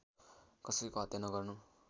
कसैको हत्या नगर्नु